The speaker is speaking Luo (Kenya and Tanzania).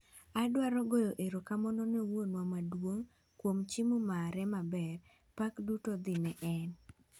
"Adwaro goyo erokamano ne Wuonwa maduong' kuom chiemo mare maber, pak duto dhi ne en".